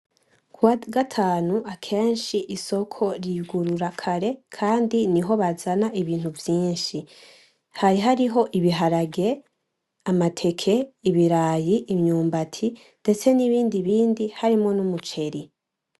Kuwagatanu akenshi Isoko riyugurura kare kandi niho bazana ibintu vyinshi, hari hariho ibiharage, amateke, ibirayi, imyubati ndetse n'ibindibindi harimwo n’Umuceri.